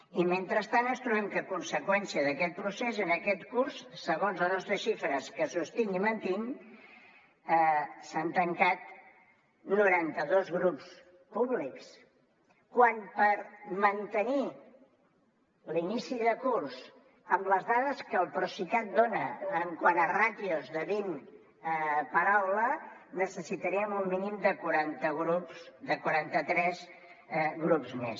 i mentrestant ens trobem que a conseqüència d’aquest procés en aquest curs segons les nostres xifres que sostinc i mantinc s’han tancat noranta dos grups públics quan per mantenir l’inici de curs amb les dades que el procicat dona quant a ràtios de vint per aula necessitaríem un mínim de quaranta tres grups més